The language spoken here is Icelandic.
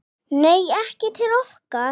Nei, ekki til okkar